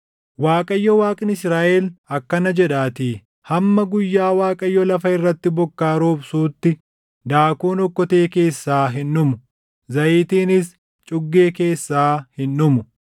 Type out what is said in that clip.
Waaqayyo Waaqni Israaʼel akkana jedhaatii; ‘Hamma guyyaa Waaqayyo lafa irratti bokkaa roobsuutti daakuun okkotee keessaa hin dhumu; zayitiinis cuggee keessaa hin dhumu.’ ”